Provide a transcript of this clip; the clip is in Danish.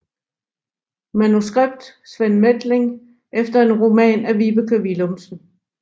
Manuskript Sven Methling efter en roman af Vibeke Willumsen